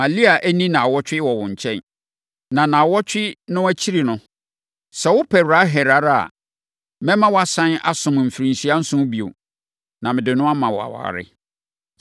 Ma Lea nni nnawɔtwe wɔ wo nkyɛn, na nnawɔtwe no akyiri no, sɛ wopɛ Rahel ara a, mɛma woasane asom mfirinhyia nson bio, na mede no ama wo aware.”